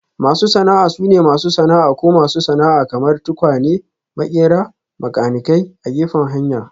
Masu sana'a sune masu sana'a ko masu sana'a kamar; tukwane, maƙera, makanikai a gefen hanya